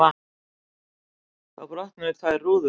Þá brotnuðu tvær rúður.